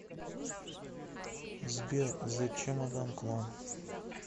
сбер зе чемодан клан